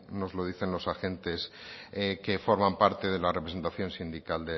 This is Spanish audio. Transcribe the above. nos lo dicen los agentes que forman parte de la representación sindical